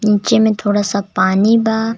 नीचे में थोड़ा सा पानी बा.